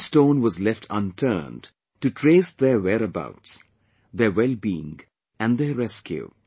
No stone was left unturned to trace their where abouts, their wellbeing and their rescue